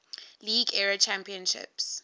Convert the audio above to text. league era champions